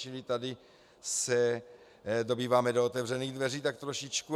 Čili tady se dobýváme do otevřených dveří tak trošičku.